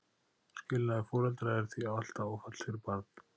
skilnaður foreldra er því alltaf áfall fyrir barn